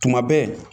Tuma bɛɛ